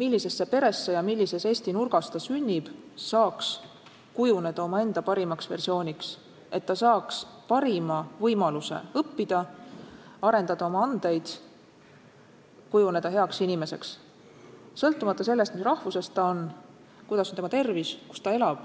millisesse peresse ja millises Eesti nurgas ta sünnib, saaks kujuneda omaenda parimaks versiooniks, et ta saaks parima võimaluse õppida, arendada oma andeid, kujuneda heaks inimeseks, sõltumata sellest, mis rahvusest ta on, kuidas on tema tervis, kus ta elab.